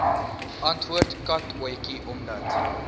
antwoord katotjie omdat